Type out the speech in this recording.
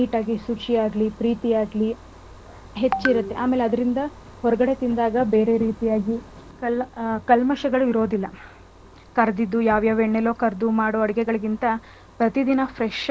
ಶುಚಿಯಾಗ್ಲಿ, ಪ್ರೀತಿಯಾಗ್ಲಿ ಹೆಚ್ಚಿರುತ್ತೆ. ಅದ್ರಿಂದ ಹೊರ್ಗಡೆ ತಿಂದಾಗ ಬೇರೆ ರೀತಿಯಾಗಿ ಕಲ್ ಆ ಕಲ್ಮಶಗಳು ಇರೋದಿಲ್ಲ ಕರ್ದಿದ್ದು ಯಾವ್ಯಾವ್ ಎಣ್ಣೆಲೋ ಕರ್ದು ಮಾಡೋ ಅಡ್ಗೆಗಳಿಗಿಂತ ಪ್ರತಿದಿನ fresh ಆಗಿ,